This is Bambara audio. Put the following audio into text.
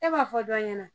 E b'a fɔ dɔ ɲɛna